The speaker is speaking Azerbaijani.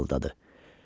İsrafil fısıldadı.